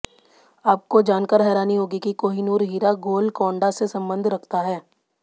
आपको जानकर हैरानी होगी कि कोहिनूर हीरा गोलकोंडा से संबंध रखता है